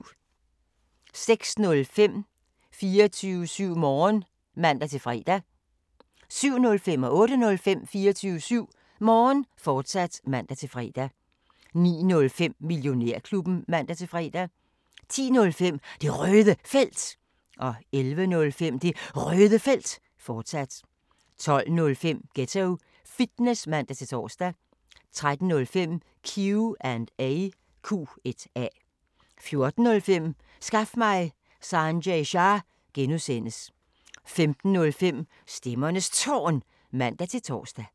06:05: 24syv Morgen (man-fre) 07:05: 24syv Morgen, fortsat (man-fre) 08:05: 24syv Morgen, fortsat (man-fre) 09:05: Millionærklubben (man-fre) 10:05: Det Røde Felt 11:05: Det Røde Felt, fortsat 12:05: Ghetto Fitness (man-tor) 13:05: Q&A 14:05: Skaf mig Sanjay Shah! (G) 15:05: Stemmernes Tårn (man-tor)